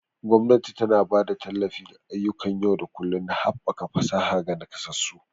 Gwamnati tana ba da tallafi ga ayyukan yau da kullun da haɓaka fasaha ga nakasassu.